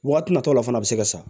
Waati natɔla fana bɛ se ka sa